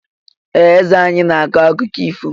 Ee! Eze anyị na-akọ akụkọ ifo.